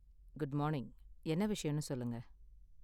good morning, என்ன விஷயம்னு சொல்லுங்க